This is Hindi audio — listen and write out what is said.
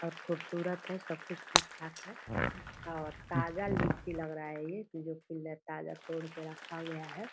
और खुबसूरत है सब कुछ ठीक-ठाक है और ताज़ा लीची लग रहा है ये ताज़ा तोड़ के रखा गया है ।